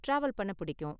travel பண்ண பிடிக்கும்